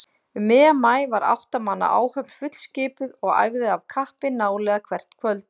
Um miðjan maí var átta manna áhöfn fullskipuð og æfði af kappi nálega hvert kvöld.